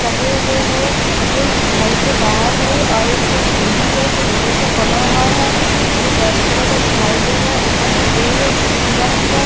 लगे हुए है जो घर के बाहर है और एक तरफ सिरी है जो लोहे का बना हुआ है जो रेड कालर का दिखाई दे रहा है ऊपर में पेड़ है जैसे पीला पिला।